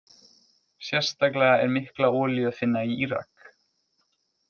Sérstaklega er mikla olíu að finna í Írak.